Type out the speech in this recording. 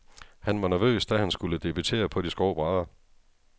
Han var nervøs, da han skulle debutere på de skrå brædder.